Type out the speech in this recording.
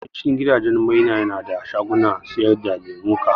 Yawan cin gidajen mai na da shagunan siyar da lemuka